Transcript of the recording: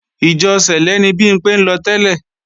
Ìjọ sẹ̀lẹ́ ni Bimpé ń lọ tẹ́lẹ̀